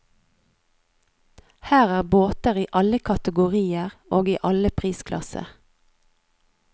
Her er båter i alle kategorier og i alle prisklasser.